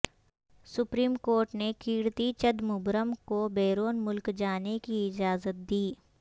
supreme court نے کیرتی چدمبرم کو بیرون ملک جانے کی اجازت دی